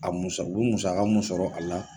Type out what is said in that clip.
A musa u bi musaka mun sɔrɔ a la.